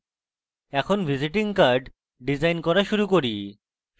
এখন visiting card design করা শুরু করি